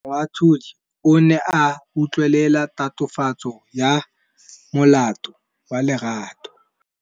Moatlhodi o ne a utlwelela tatofatsô ya molato wa Lerato.